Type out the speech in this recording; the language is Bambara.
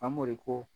Famori ko